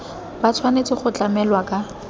ba tshwanetse go tlamelwa ka